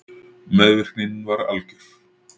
Meðvirknin var algjör.